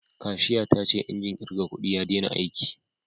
Kashiya ta ce injin kirga kudi ya dena aiki